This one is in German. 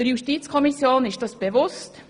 Der Justizkommission ist dies bewusst.